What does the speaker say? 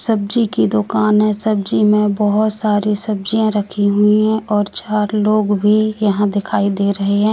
सब्जी की दुकान है सब्जी में बहुत सारी सब्जियां रखी हुई है और चार लोग भी यहां दिखाई दे रहे हैं।